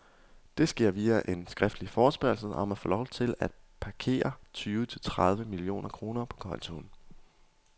Det sker via en skriftlig forespørgsel om at få lov til at parkere tyve til tredive millioner kroner på kontoen.